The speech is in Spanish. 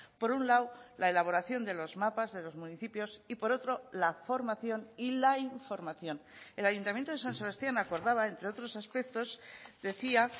por un lado la elaboración de los mapas de los municipios y por otro la formación y la información el ayuntamiento de san sebastián acordaba entre otros aspectos decía